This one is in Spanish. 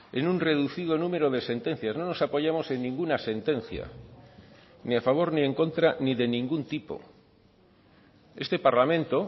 en un reducido número de sentencias no nos apoyamos en ninguna sentencia ni a favor ni en contra ni de ningún tipo este parlamento